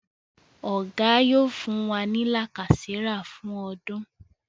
Oga yóò fún wá ní lacasera fún ọdún.